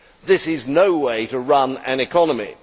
This is no way to run an economy.